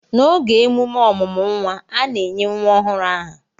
n'oge emume ọmụmụ nwa, a na-enye nwa ọhụrụ aha